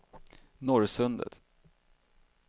Norrsundet